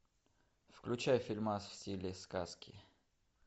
включай фильмас в стиле сказки